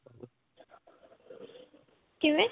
ਕਿਵੇਂ?